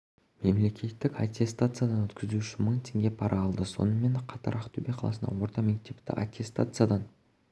мемлекеттік аттестациядан өткізу үшін мың теңге пара алды сонымен қатар ақтөбе қаласындағы орта мектепті аттестациядан